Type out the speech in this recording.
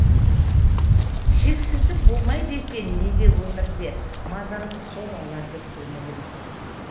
шексіздік болмайды екен неге өмірде мазамды сол алады көңіліме